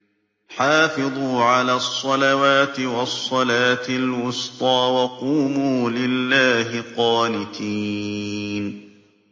حَافِظُوا عَلَى الصَّلَوَاتِ وَالصَّلَاةِ الْوُسْطَىٰ وَقُومُوا لِلَّهِ قَانِتِينَ